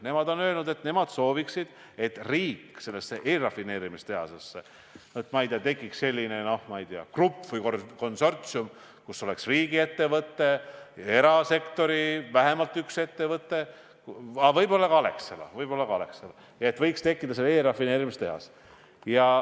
Nemad on öelnud, et nemad sooviksid, et riik sellesse eelrafineerimistehasesse panustaks, et tekiks selline grupp või konsortsium, kus oleks riigiettevõte, vähemalt üks erasektori ettevõte, aga võib-olla ka Alexela.